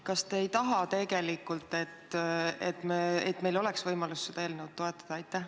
Kas te ei taha tegelikult, et meil oleks võimalus seda eelnõu toetada?